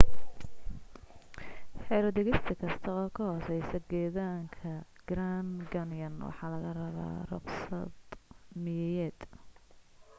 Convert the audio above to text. xero degista kasta oo ka hooseysa gedaanka grand canyon waxa laga rabaa ruqsad miyiyeed